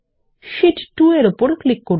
শীট2 এর উপর ক্লিক করুন